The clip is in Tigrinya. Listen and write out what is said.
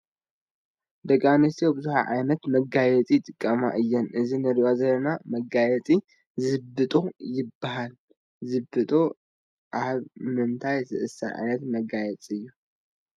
ደቂ ኣንስትዮ ብዙሕ ዓይነት መጋየፂ ይጥቀማ እየን፡፡ እዚ ንሪኦ ዘለና መጋየፂ ዝብጦ ይበሃል፡፡ ዝብጦ ኣብ ምንታይ ዝእሰር ዓይነት መጋየፂ እዩ?